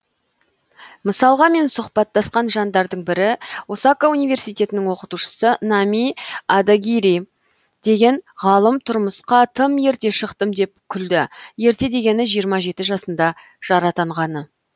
мысалға мен сұхбаттасқан жандардың бірі осака университетінің оқытушысы нами одагири деген ғалым тұрмысқа тым ерте шықтым деп күлді ерте дегені жиырма жеті жасында жар атанғаны